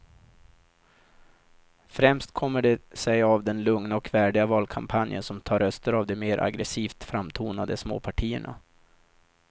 Främst kommer det sig av den lugna och värdiga valkampanjen som tar röster av de mer aggresivt framtonade småpartierna.